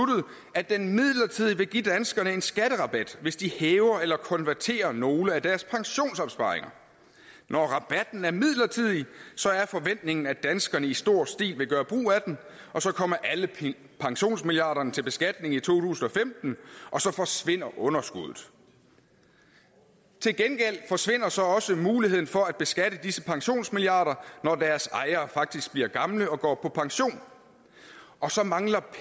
at den midlertidigt vil give danskerne en skatterabat hvis de hæver eller konverterer nogle af deres pensionsopsparinger når rabatten er midlertidig så er forventningen at danskerne i stor stil vil gøre brug af den og så kommer alle pensionsmilliarderne til beskatning i to tusind og femten og så forsvinder underskuddet til gengæld forsvinder så også muligheden for at beskatte disse pensionsmilliarder når deres ejere faktisk bliver gamle og går på pension og så mangler